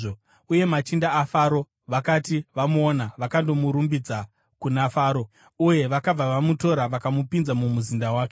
Uye machinda aFaro vakati vamuona, vakandomurumbidza kuna Faro, uye vakabva vamutora vakamupinza mumuzinda wake.